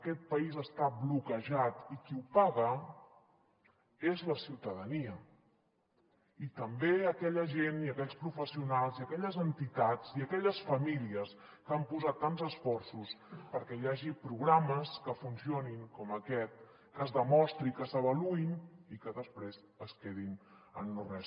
aquest país està bloquejat i qui ho paga és la ciutadania i també aquella gent i aquells professionals i aquelles entitats i aquelles famílies que han posat tants esforços perquè hi hagi programes que funcionin com aquest que es demostri que s’avaluïn i que després es quedin en no res